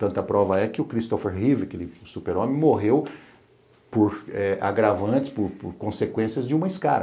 Tanta prova é que o Christopher Reeve, aquele super-homem, morreu por agravantes, por consequências de uma escara.